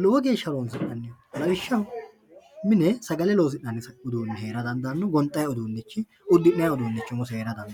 lowo geesha horonsinanniho, lawishaho mine sagale loosinani uduunichi heera dandano gonxxayi uduunichi, udi'nayi uduunichi umosi heera dandanno